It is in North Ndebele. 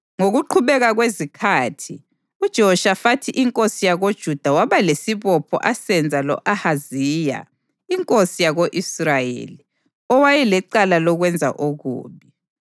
Ngokuqhubeka kwezikhathi, uJehoshafathi inkosi yakoJuda waba lesibopho asenza lo-Ahaziya inkosi yako-Israyeli, owayelecala lokwenza okubi.